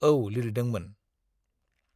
औ लिरदोंमोन।